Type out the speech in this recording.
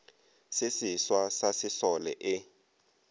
se seswa sa sesole e